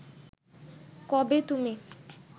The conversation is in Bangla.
কবে তুমি